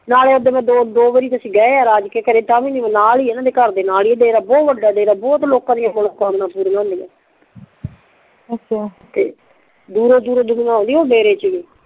ਨਾਲੇ ਮੈਂ ਓਦਣ ਦੋ ਵਾਰੀ ਤੇ ਅਸੀਂ ਗਏ ਆ ਰਾਜ ਕੇ ਘਰੇ ਤਾਂ ਵੀ ਨਾਲ ਹੀ ਨਾ ਨਾਲ ਹੀ ਆ ਓਨਾ ਦੇ ਘਰ ਦੇ ਲਾਗੇ ਬਹੁਤ ਵੱਡਾ ਦੇਰ ਬਹੁਤ ਲੋਕਾ ਦੀਆ ਮਨੋਕਾਮਨਾ ਪੂਰੀਆ ਹੁੰਦੀਆ ਅੱਛਾ ਦੂਰੋਂ ਦੂਰੋਂ ਦੁਨੀਆ ਓਨਦੀ ਆ ਓ ਡੇਰੇ ਚ ਵੀ